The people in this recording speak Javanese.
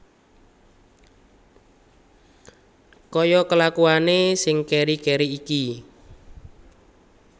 Kaya kelakuane sing keri keri iki